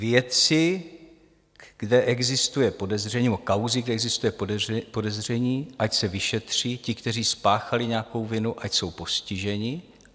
Věci, kde existuje podezření, nebo kauzy, kde existuje podezření, ať se vyšetří, ti, kteří spáchali nějakou vinu, ať jsou postiženi.